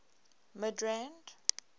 midrand